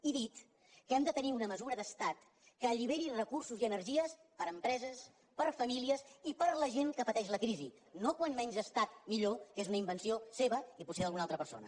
he dit que hem de tenir una mesura d’estat que alliberi recursos i energies per a empreses per a famílies i per a la gent que pateix la crisi no com menys estat millor que és una invenció seva i potser d’alguna altra persona